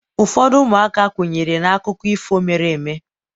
ụfọdụ ụmụaka kwenyere na akụkọ ifo mere eme